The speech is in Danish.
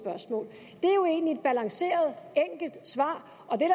balanceret enkelt svar